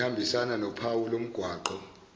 ehambisana nophawu lomgwaqo